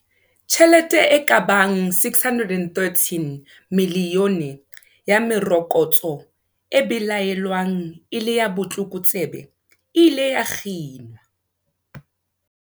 Tjhelete e ka bang R613 milione ya merokotso e belaelwang e le ya botlokotsebe e ile ya kginwa.